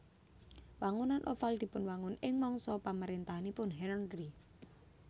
Wangunan Oval dipunwangun ing mangsa pamaréntahanipun Henri